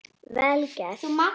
Vel gert.